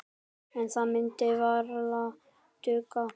En það myndi varla duga.